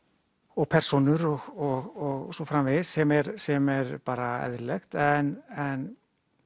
og persónur og svo framvegis sem er sem er bara eðlilegt en